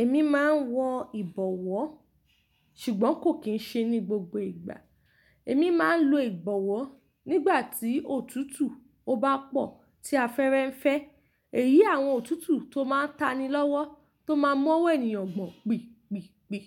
Èmi máa ń wọ ìbọ̀wọ́ ṣùgbọ́n kò kì í ṣe ní gbogbo ìgbà. Èmi máa ń lo ìbọ̀wọ́ nígbà tí òtútù to bá pọ̀ tí a fẹ́rẹ ń fẹ́. Èyí àwọn òtútù tó máa ń tani lọ́wọ́, tó máa ń mọ́wọ́ ènìyàn gbọ̀n pìpìpì.